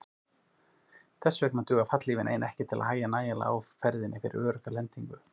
Þess vegna dugir fallhlífin ein ekki til að hægja nægjanlega á ferðinni fyrir örugga lendingu.